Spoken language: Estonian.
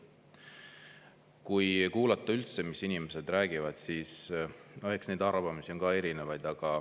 Kui kuulata üldse, mis inimesed räägivad, siis eks neid arvamusi on ka erinevaid.